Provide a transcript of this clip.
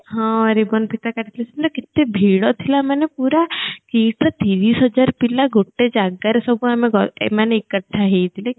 ହଁ ribbon ଫିତା କାଟିଥିଲେ ସେଦିନ କେତେ ଭିଡ ଥିଲା ମାନେ ପୁରା KIIT ର ତିରିଶ୍ ହଜାର ପିଲା ଗୋଟେ ଜାଗାରେ ସବୁ ଆମେ ଏ ମାନେ ଏକାଠି ହେଇଥିଲେ